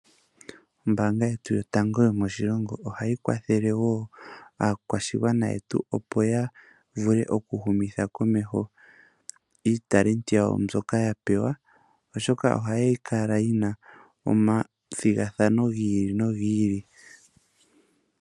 Ombaanga yetu yotango yomoshilongo ohayi kwathele woo aakwashigwana yetu opo ya vule oku humitha komeho uunongo wawo mboka ya pewa, oshoka ohayi kala yina omathigathano gi ili nogi ili.